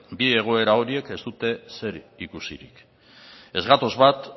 bi egoera horiek ez dute zer ikusirik ez gatoz bat